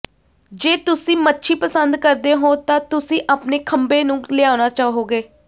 ਜੇ ਤੁਸੀਂ ਮੱਛੀ ਪਸੰਦ ਕਰਦੇ ਹੋ ਤਾਂ ਤੁਸੀਂ ਆਪਣੇ ਖੰਭੇ ਨੂੰ ਲਿਆਉਣਾ ਚਾਹੋਗੇ